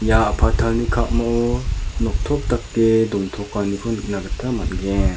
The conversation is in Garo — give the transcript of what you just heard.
ia a·patalni ka·mao noktop dake dontokaniko nikna gita man·gen.